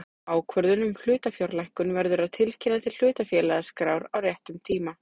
Ákvörðun um hlutafjárlækkun verður að tilkynna til hlutafélagaskrár á réttum tíma.